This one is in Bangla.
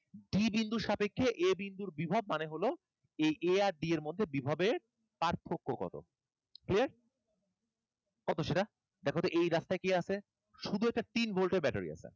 D বিন্দুর সাপেক্ষে a বিন্দুর বিভব মানে হলো এই a আর d এর মধ্যে বিভবের পার্থক্য কতো? Clear? কত সেটা? দেখতো এই রাস্তায় কি আছে? শুধু একটা তিন volt এর battery আছে।